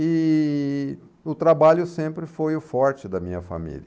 E o trabalho sempre foi o forte da minha família.